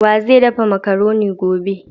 Wa zai daffa macaronin gobe?